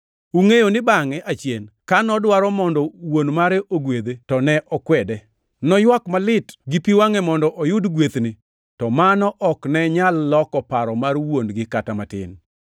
Ungʼeyo ni bangʼe achien ka nodwaro mondo wuon mare ogwedhe to ne okwede. Noywak malit gi pi wangʼe mondo oyud gwethni to mano ok ne nyal loko paro mar wuon-gi kata matin.